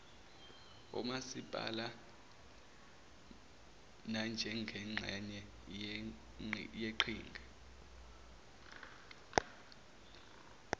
omasipala nanjengengxenye yeqhinga